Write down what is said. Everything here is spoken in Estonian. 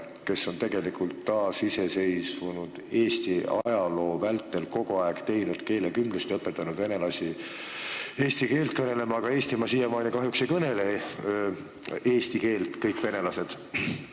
Nad on kogu taasiseseisvunud Eesti ajaloo vältel teinud keelekümblust ja õpetanud venelasi eesti keelt kõnelema, aga siiamaani ei kõnele kahjuks kõik venelased Eestimaal eesti keelt.